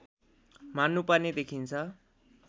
मान्नुपर्ने देखिन्छ